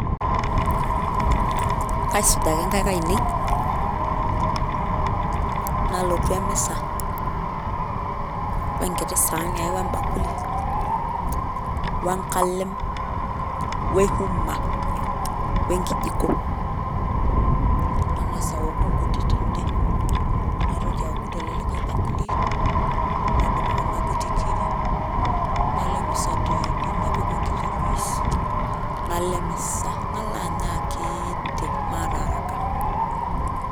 Kaisuj ake nkaik ainei nalotu emisa , wenkiti saani ai wembakuli , wenkalem ,wehuma ,wenkijko , nangas aoku nkuti tende , naitoki aaku tele likae bakuli , napuku kuna kuti kiri, nalo emisa teidie , napiku enkiti juice , nalo emisa , nalo anya akiiti maata araka.